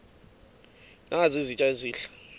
nazi izitya ezihle